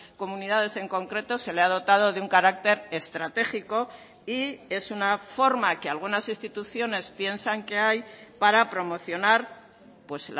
comunidades en concreto se le ha dotado de un carácter estratégico y es una forma que algunas instituciones piensan que hay para promocionar pues